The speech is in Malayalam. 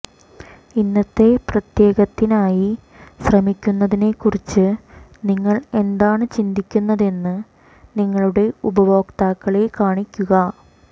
ഇന്നത്തെ പ്രത്യേകത്തിനായി ശ്രമിക്കുന്നതിനെക്കുറിച്ച് നിങ്ങൾ എന്താണ് ചിന്തിക്കുന്നതെന്ന് നിങ്ങളുടെ ഉപഭോക്താക്കളെ കാണിക്കുക